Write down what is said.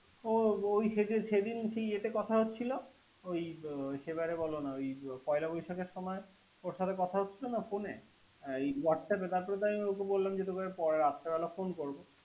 ও ও সেদিন সেদিন সে ইয়েতে কথা হয়েছিল । ওই সে বারে বলোনা ও পহেলা বৈশাখের সময় ওর সাথে কথা বলেছিলাম না ফোনে। বলামনা তোকে রাত্রে বেলা ফোন করব।